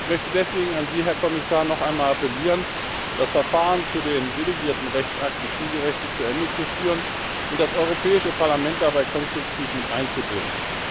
Ich möchte deswegen, an Sie, Herr Kommissar, noch einmal appellieren, das Verfahren zu den delegierten Rechtsakten zielgerichtet zu Ende zu führen und das Europäische Parlament dabei konstruktiv miteinzubinden.